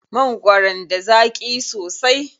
Mangwaron da zaƙi sosai.